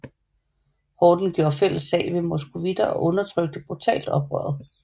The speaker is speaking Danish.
Horden gjorde fælles sag med moskovitter og undertrykte brutalt oprøret